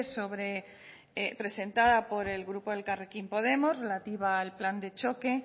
sobre presentada por el grupo elkarrekin podemos relativa al plan de choque